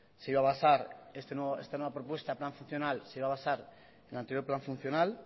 se iba a basar esta nueva propuesta el plan funcional se iba a basar en el anterior plan funcional